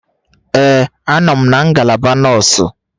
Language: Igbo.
Ee a nọ m na ngalaba nọọsụ.